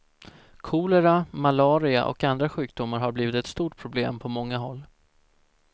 Kolera, malaria och andra sjukdomar har blivit ett stort problem på många håll.